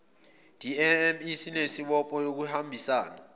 dme linesibopho sokuhambisana